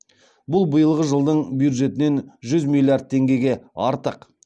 бұл биылғы жылдың бюджетінен жүз миллиард теңгеге артық